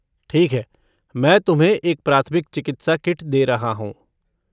ठीक है, मैं तुम्हें एक प्राथमिक चिकित्सा किट दे रहा हूँ।